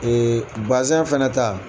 fanɛ ta